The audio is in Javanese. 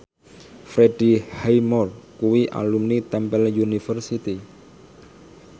Freddie Highmore kuwi alumni Temple University